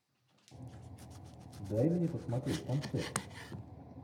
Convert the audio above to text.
дай мне посмотреть концерт